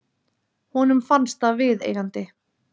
Honum fannst það viðeigandi.